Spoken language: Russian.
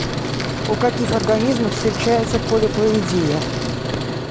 у каких организмов встречается полиплоидия